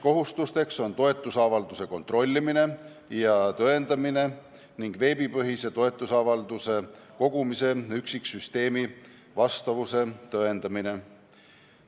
Kohustused on toetusavalduse kontrollimine ja tõendamine ning veebipõhise toetusavalduse kogumise üksiksüsteemi vastavuse tõendamine.